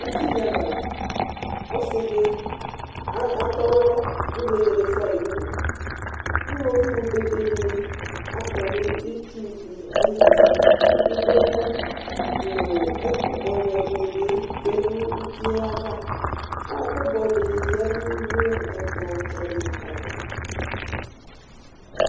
Uti dɩ ava la ! Ɔsɩ dɩ atɔnalɔ kʋ vegele fʋayɩ nʋ uduIwoviu bebe dɩnɩ akɔ nʋ itsu dɩ ayitiIkpoku nʋ ɛkʋ bʋɛbʋɛ dɩnɩ bɩ tsue nʋ uti yɛ avaƆkʋ bʋɛ dɩ yǝdu nʋ ɛkplɔ tsɔ dɩava